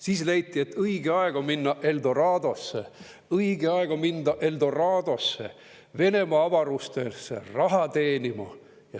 Siis leiti, et on õige aeg minna Eldoradosse, õige aeg on minna Eldoradosse, Venemaa avarustesse raha teenima.